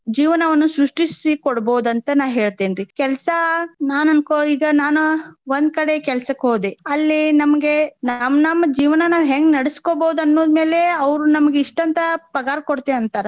ಜೀವನವನ್ನು ಸೃಷ್ಟಿಸಿ ಕೊಡ್ಬಹುದಂತ ನಾ ಹೇಳ್ತೇನ್ರಿ. ಕೆಲ್ಸಾ ನಾನ್ ಅನ್ಕೋ ಈಗ ನಾನು ಒಂದ್ ಕಡೆ ಕೆಲ್ಸಕ್ಕೆ ಹೋದೆ. ಅಲ್ಲಿ ನಮ್ಗೆ ನಮ್ ನಮ್ ಜೀವನಾ ನಾವ್ ಹೆಂಗ್ ನಡ್ಸಕೊಬಹುದ್ ಅನ್ನೋದ್ ಮೇಲೆ ಅವ್ರು ನಮಗ್ ಇಷ್ಟಂತ ಪಗಾರ ಕೊಡ್ತೇವಿ ಅಂತಾರ.